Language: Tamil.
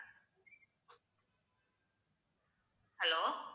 hello